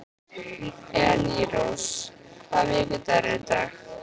Elírós, hvaða vikudagur er í dag?